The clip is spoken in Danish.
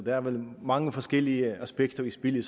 er vel mange forskellige aspekter i spil i